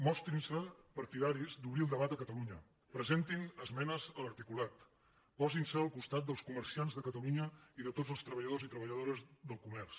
mostrin se partidaris d’obrir el debat a catalunya presentin esmenes a l’articulat posin se al costat dels comerciants de catalunya i de tots els treballadors i treballadores del comerç